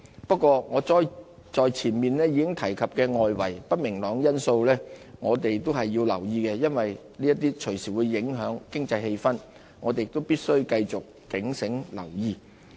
不過，我上述提及的外圍不明朗因素，我們也需要留意，因為這些隨時會影響經濟氣氛，我們亦必須繼續警醒留意。